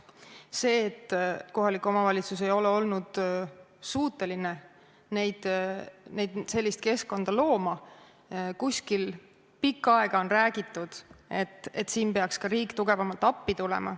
Kui kohalik omavalitsus ei ole olnud suuteline sellist keskkonda kuskil looma, siis on pikka aega räägitud, et siin peaks ka riik tugevamalt appi tulema.